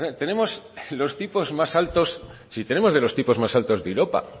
si tenemos de los tipos más altos de europa